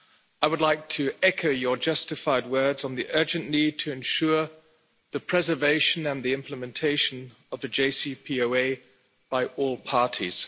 I would like to echo your justified words on the urgent need to ensure the preservation and the implementation of the JCPOA by all parties.